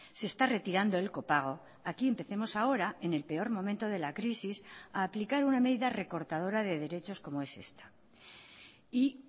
se está retirando el copago aquí empecemos ahora en el peor momento de la crisis a aplicar una medida recortadora de derechos como es esta y